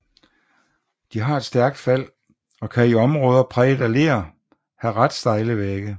De har et stærkt fald og kan i områder præget af ler have ret stejle vægge